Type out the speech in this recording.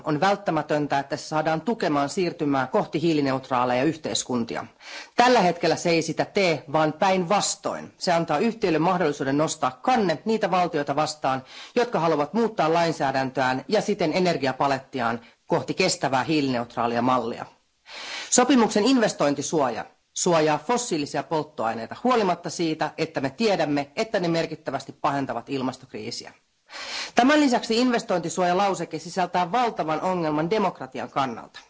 Arvoisa puhemies, kun ECT sopimusta nyt ollaan modernisoimassa, on välttämätöntä, että se saadaan tukemaan siirtymää kohti hiilineutraaleja yhteiskuntia. Tällä hetkellä se ei sitä tee, vaan päinvastoin, se antaa yhtiöille mahdollisuuden nostaa kanne niitä valtioita vastaan, jotka haluavat muuttaa lainsäädäntöään ja siten energiapalettiaan kohti kestävää hiilineutraalia mallia. Sopimuksen investointisuoja suojaa fossiilisia polttoaineita huolimatta siitä, että me tiedämme, että ne merkittävästi pahentavat ilmastokriisiä. Tämän lisäksi investointisuojalauseke sisältää valtavan ongelman demokratian kannalta.